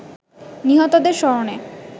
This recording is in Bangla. নিহতদের স্মরণে